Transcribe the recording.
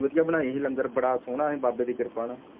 ਵਧਿਆ ਬਣਾਈ ਹੀ ਲੰਗਰ ਬੜਾ ਸੋਹਣਾ ਹੀ ਬਾਬੇ ਦੀ ਕਿਰਪਾ ਨਾਲ